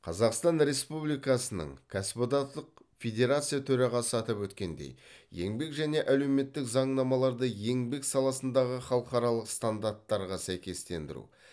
қазақстан республикасының кәсіптік одақтық федерация төрағасы атап өткендей еңбек және әлеуметтік заңнамаларды еңбек саласындағы халықаралық стандарттарға сәйкестендіру